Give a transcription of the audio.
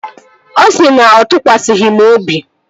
Ọ sị na ọ tụkwasịghị m obi